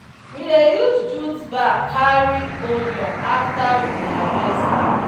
we dey use jute bag carry onion after we harvest am.